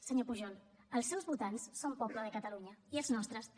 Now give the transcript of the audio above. senyor pujol els seus votants són poble de catalunya i els nostres també